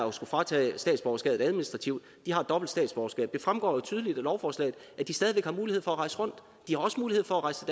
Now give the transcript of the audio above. at skulle fratage statsborgerskabet administrativt har dobbelt statsborgerskab det fremgår jo tydeligt af lovforslaget at de stadig væk har mulighed for at rejse rundt og de har også mulighed for at rejse